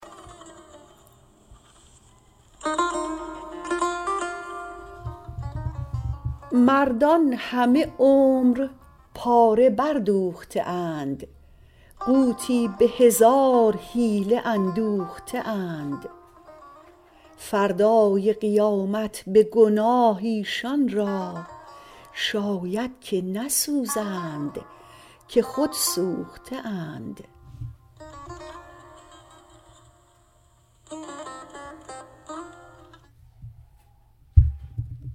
مردان همه عمر پاره بردوخته اند قوتی به هزار حیله اندوخته اند فردای قیامت به گناه ایشان را شاید که نسوزند که خود سوخته اند